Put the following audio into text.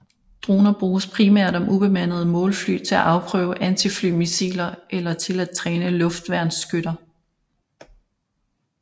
Droner bruges primært om ubemandede målfly til at afprøve antiflymissiler eller til at træne luftværnsskytter